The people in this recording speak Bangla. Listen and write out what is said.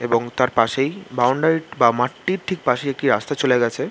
এবং তার পাশেই বাউন্ডারি বা মাঠটির ঠিক পাশেই একটি রাস্তা চলে গেছে ।